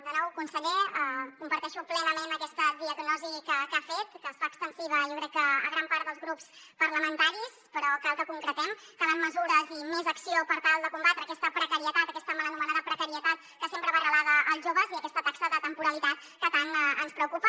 de nou conseller comparteixo plenament aquesta diagnosi que ha fet que es fa extensiva jo crec que a gran part dels grups parlamentaris però cal que concretem calen mesures i més acció per tal de combatre aquesta precarietat aquesta mal anomenada precarietat que sempre va arrelada als joves i aquesta taxa de temporalitat que tant ens preocupa